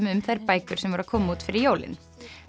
um þær bækur sem voru að koma út fyrir jólin